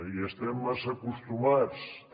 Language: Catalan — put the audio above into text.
hi estem massa acostumats també